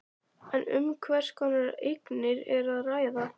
En um hvers konar eignir er að ræða?